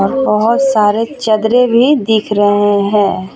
ओर बहुत सारे चदरे भी दिख रहे हैं.